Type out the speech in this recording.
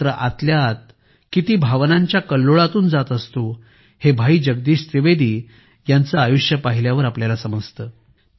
मात्र आतल्याआत किती भावनांच्या कल्लोळातून जात असतो हे भाई जगदीश त्रिवेदी यांचे आयुष्य पाहिल्यावर आपल्याला समजते